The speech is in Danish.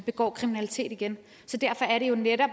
det på en eller